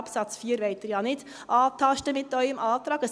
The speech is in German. Absatz 4 wollen Sie ja mit Ihrem Antrag nicht antasten.